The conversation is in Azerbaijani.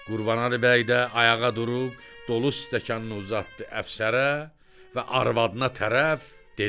Qurbanəli bəy də ayağa durub dolu stəkanını uzatdı əfsərə və arvadına tərəf dedi.